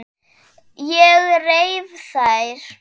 Ég reif þær.